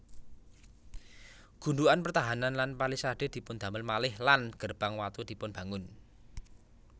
Gundukan pertahanan lan palisade dipundamel malih lan gerbang watu dipunbangun